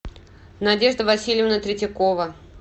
надежда васильевна третьякова